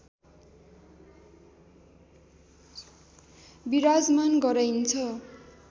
विराजमान गराइन्छ